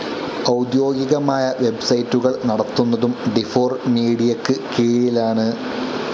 ഔദ്വോഗികമായ വെബ്സൈറ്റുകൾ നടത്തുന്നതും ഡിഫോർ മീഡിയക്ക് കീഴിലാണ്.